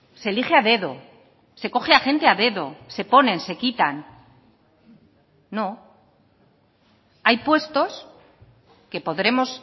se elige a dedo se coge a gente a dedo se ponen se quitan no hay puestos que podremos